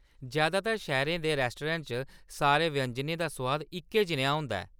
जैदातर शैह्‌रै दे रेस्तराएं च, सारे व्यंजनें दा सुआद इक्कै जनेहा होंदा ऐ।